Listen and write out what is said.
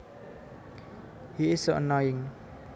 He is so annoying